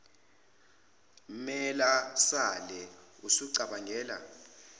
mela sale usucabangela